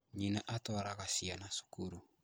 Nyina atwaraga ciana cukuru